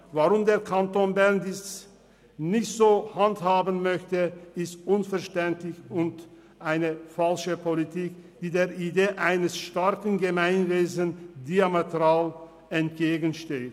Weshalb der Kanton Bern dies nicht so handhaben möchte, ist unverständlich und eine falsche Politik, die der Idee eines starken Gemeinwesens diametral entgegensteht.